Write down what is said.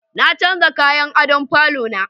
Na canja kayan adon falo na